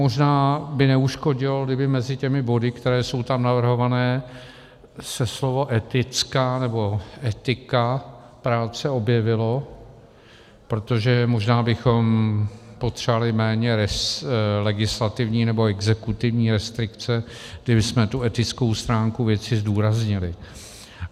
Možná by neuškodilo, kdyby mezi těmi body, které jsou tam navrhované, se slovo etická nebo etika práce objevilo, protože možná bychom potřebovali méně legislativní nebo exekutivní restrikce, kdybychom tu etickou stránku věci zdůraznili.